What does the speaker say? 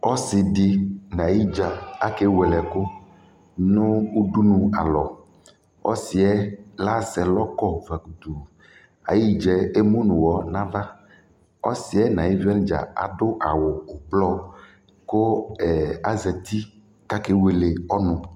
ɔsii di nʋ ayi dza kɛ wɛlɛ ɛkʋ nʋ ʋdʋnʋ alɔ, ɔsiiɛ asɛ ɛlɔ kɔ kʋ ayi gyaɛ ɛmʋnʋ ʋwɔ nʋ aɣa, ɔsiiɛ nʋ ayi ɛmlɔ wani dza adʋ awʋ ɔblɔ kʋ azati kʋ akɛ wɛlɛ ɔnʋ